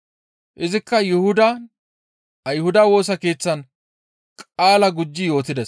Izikka Yuhudan Ayhudata Woosa Keeththan qaala gujji yootides.